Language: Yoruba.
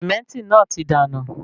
Sementi náà tí dànù